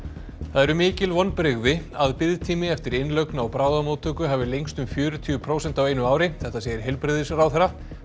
það eru mikil vonbrigði að biðtími eftir innlögn á bráðamóttöku hafi lengst um fjörutíu prósent á einu ári þetta segir heilbrigðisráðherra